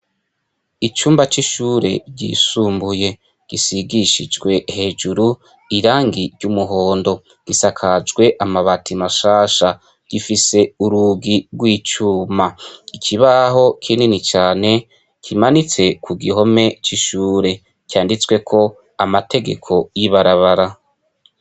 Icumba c'ishuri ryisumbuye gisigishijwe hejuru irangi ry'umuhondo, gisakajwe amabati mashasha gifise urugi rw'icuma, ikibaho kinini cane kimanitse ku gihome c'ishuri canditsweko amategeko y'ibarabara.